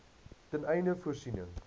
ten einde voorsiening